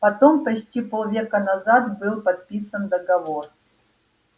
потому почти полвека назад был подписан договор